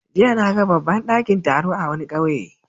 Jiya na ga babban dakin taro a wani kauye.